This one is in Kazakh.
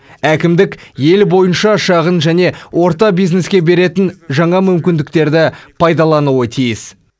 әкімдік ел бойынша шағын және орта бизнеске беретін жаңа мүмкіндіктерді пайдалануы тиіс